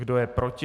Kdo je proti?